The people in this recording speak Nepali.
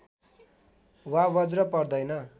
वा बज्र पर्दैन